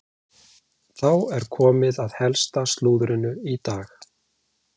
Þá er komið að helsta slúðrinu í dag.